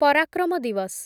ପରାକ୍ରମ ଦିୱସ